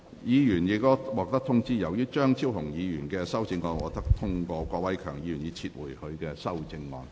議員已獲通知，由於張超雄議員的修正案獲得通過，郭偉强議員已撤回他的修正案。